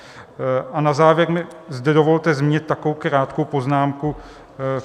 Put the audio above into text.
A na závěr mi zde dovolte zmínit takovou krátkou poznámku.